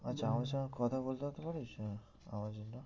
আচ্ছা আমাদের সঙ্গে কথা বলাতে পারিস হম আমার জন্য